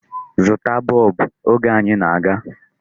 Zụta bọb! Oge anyi na-aga.